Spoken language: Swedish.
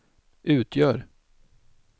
utgör